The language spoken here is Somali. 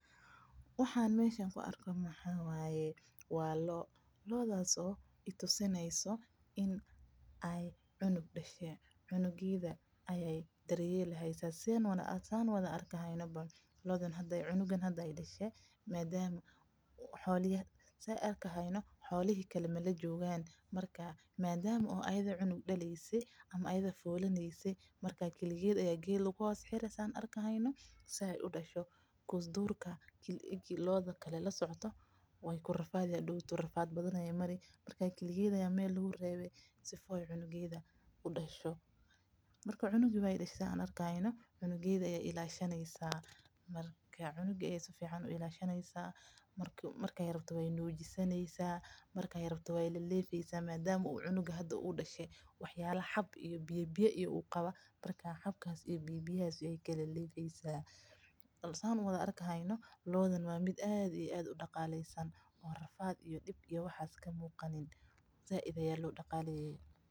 Waxaan meesha ku arko waa loo, loodas oo cunug dashe, cunuga aayeey dar yeeleysa, xolaha kale lama joogan, kaligeeda ayaa meel lagu reebe, si aay cunuga uadsho, marka cunuga sifican ayeey u ilaashami haysa, marki rabto cana ayeey sineysa, waa loo aad udaqalesan oo rafaad ka muuqanin.